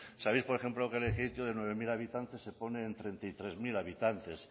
sabeis por ejemplo que en lekeitio de nueve mil habitantes se pone en treinta y tres mil habitantes